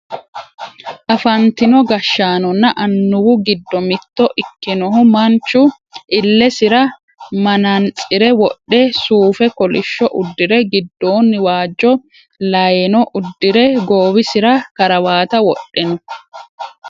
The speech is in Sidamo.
afantino gashshaanonna annuwu giddo mitto ikkinohu manchu illesira manaantsire wodhe suufe kolishsho uddire giddoonni waajjo layeeno uddire goowisira karawate wodhe no